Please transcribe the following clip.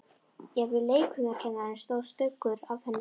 Jafnvel leikfimikennaranum stóð stuggur af henni.